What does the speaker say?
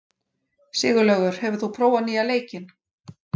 Sigurlaugur, hefur þú prófað nýja leikinn?